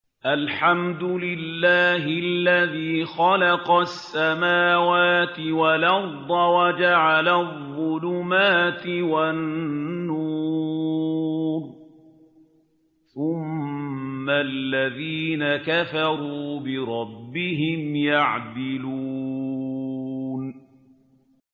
الْحَمْدُ لِلَّهِ الَّذِي خَلَقَ السَّمَاوَاتِ وَالْأَرْضَ وَجَعَلَ الظُّلُمَاتِ وَالنُّورَ ۖ ثُمَّ الَّذِينَ كَفَرُوا بِرَبِّهِمْ يَعْدِلُونَ